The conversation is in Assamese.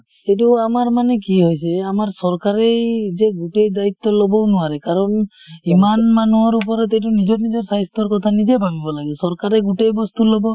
এইটো আমাৰ মানে কি হৈছে আমাৰ চৰকাৰেই যে গোটেই দায়িত্ব লবও নোৱাৰে কাৰণ ইমান মানুহৰ ওপৰত এইটো নিজৰ নিজৰ স্বাস্থ্যৰ কথা নিজেই ভাবিব লাগে । চৰকাৰেই গোটেই বস্তু লব,